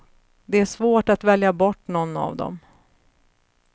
Det är svårt att välja bort någon av dem.